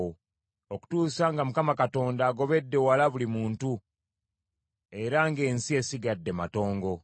okutuusa nga Mukama Katonda agobedde wala buli muntu, era ng’ensi esigadde matongo.